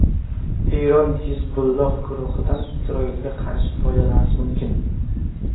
Eron Hizbulloh guruhidan Isroilga qarshi foydalanishi mumkin.